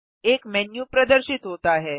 एक मेन्यू प्रदर्शित होता है